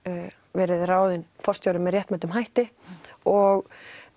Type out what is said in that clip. verið ráðin forstjóri með réttmætum hætti og